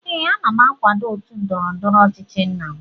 Ee, m na-akwado otu ndọrọ ndọrọ ọchịchị nna m